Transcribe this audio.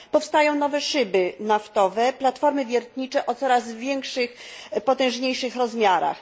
Powstają nowe szyby naftowe, platformy wiertnicze o coraz większych, potężniejszych rozmiarach.